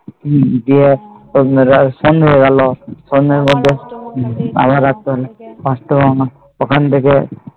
গিয়ে সন্ধে হয় গেল সন্ধে বেলা ওখান থেকে